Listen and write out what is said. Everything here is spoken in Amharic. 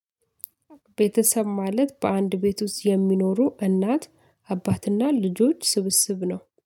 ቤተሰብ ማለት በአንድ ቤት ውስጥ የሚኖሩ እናት፣ አባትና፣ ልጆች ስብስብ ነው።